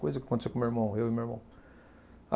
Coisa que aconteceu com o meu irmão, eu e meu irmão.